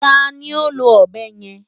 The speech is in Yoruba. Ta ni ó lo ọ̀bẹ yẹn?